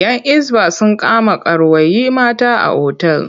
‘Yan Hisba sun kama karuwai mata a otal.